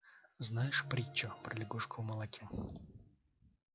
знаешь притчу про лягушку в молоке